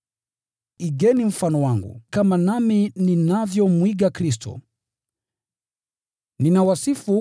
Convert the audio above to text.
Igeni mfano wangu, kama ninavyouiga mfano wa Kristo.